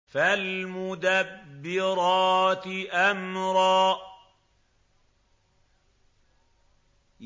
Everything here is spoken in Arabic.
فَالْمُدَبِّرَاتِ أَمْرًا